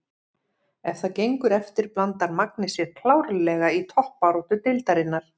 Ef það gengur eftir blandar Magni sér klárlega í toppbaráttu deildarinnar!